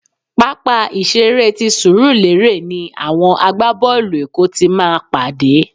Pápá ìṣeré ti Surulere ni àwọn àgbá-boolu èkó ti máa pàdé.